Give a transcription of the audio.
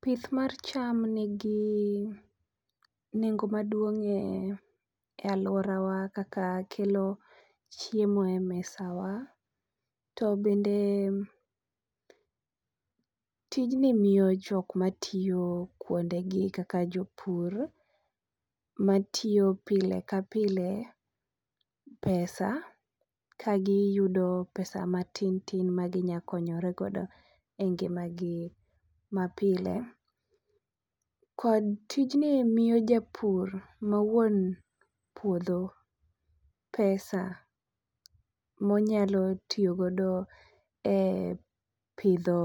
Pith mar cham nigi nengo maduong' e aluorawa kaka kelo chiemo e mesawa to bende tijni miyo jok matiyo kuondegi kaka jopur matiyo pile ka pile pesa ka giyudo pesa matin matin maginyalo konyorego e ngimagi mapile kod tijni miyo japur ma wuon puodho pesa ma onyalo tiyo godo e pidho